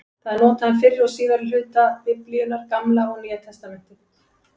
Það er notað um fyrri og síðari hluta Biblíunnar, Gamla og Nýja testamentið.